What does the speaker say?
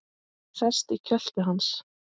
Sest í kjöltu hans.